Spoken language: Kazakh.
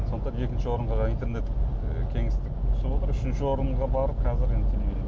сондықтан екінші орынға интернет ы кеңістік түсіп отыр үшінші орынға барып қазір енді телевидение